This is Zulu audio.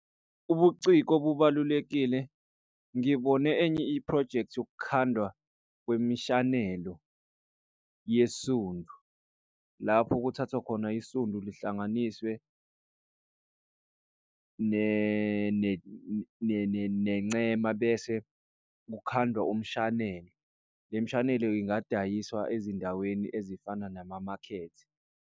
Ubuciko bubalulekile, ngibone enye iphrojekthi yokukhandwa kwemishanelo yesundu. Lapho kuthathwa khona isundu lihlanganiswe nencema bese kukhandwa umshanelo. Le mshanelo ingadayiswa ezindaweni ezifana nama makhethi.